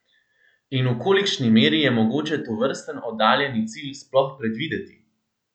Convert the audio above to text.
In v kolikšni meri je mogoče tovrsten oddaljeni cilj sploh predvideti?